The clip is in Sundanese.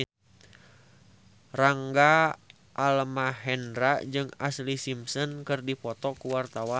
Rangga Almahendra jeung Ashlee Simpson keur dipoto ku wartawan